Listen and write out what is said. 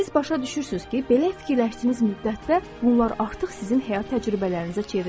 Siz başa düşürsünüz ki, belə fikirləşdiyiniz müddətdə bunlar artıq sizin həyat təcrübələrinizə çevrilmişdi.